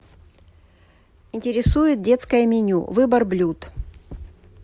интересует детское меню выбор блюд